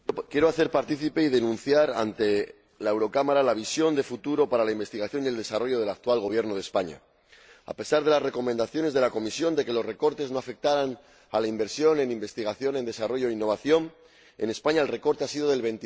Señora Presidenta, quiero comunicar a esta Cámara y denunciar ante ella la visión de futuro para la investigación y el desarrollo del actual Gobierno de España. A pesar de las recomendaciones de la Comisión de que los recortes no afectaran a la inversión en investigación, en desarrollo e innovación, en España el recorte ha sido del